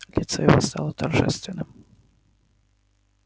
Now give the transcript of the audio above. лицо его стало торжественным